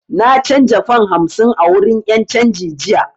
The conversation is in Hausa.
Na canza fam hamsin a wurin 'yan canji jiya